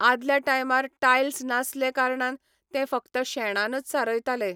आदल्या टायमार टायल्स नासले कारणान तें फकत शेणानच सारयताले.